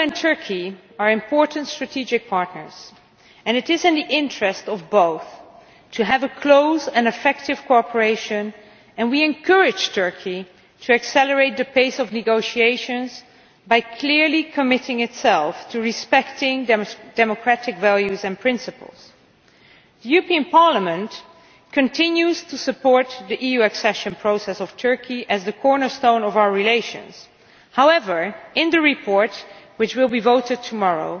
The EU and Turkey are important strategic partners and it is in the interests of both to have close and effective cooperation. We encourage Turkey to accelerate the pace of negotiations by clearly committing itself to respecting democratic values and principles. Parliament continues to support the EU accession process of Turkey as the cornerstone of our relations. However, in the report which will be voted on tomorrow